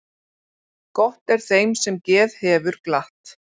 Gott er þeim sem geð hefur glatt.